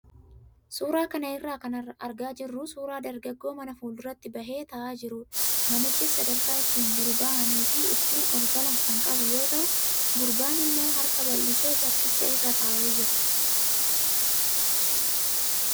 Suuraa kana irraa kan argaa jirru suuraa dargaggoo mana fuulduratti bahee taa'aa jirudha. Manichis sadarkaa ittiin gadi bahanii fi ittiin ol galan kan qabu yoo ta'u, gurbaan immoo harka bal'isee bakkicha irra taa'ee jira.